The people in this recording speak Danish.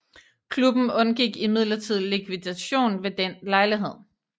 Klubben undgik imidlertid likvidation ved den lejlighed